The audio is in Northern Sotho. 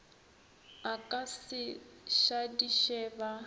a ka se šadiše ba